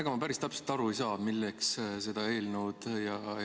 Ega ma päris täpselt aru ei saa, milleks ja kellele seda eelnõu vaja on.